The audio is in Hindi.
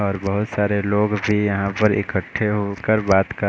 और बहोत सारे लोग भी यहां पर इकट्ठे होकर बात कर--